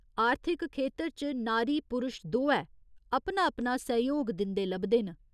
आर्थिक खेतर च नारी पुरश दोऐ, अपना अपना सैह्‌योग दिंदे लभदे न।